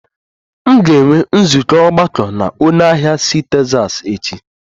M ga-enwe nzukọ ogbako na onye ahịa si Texas echi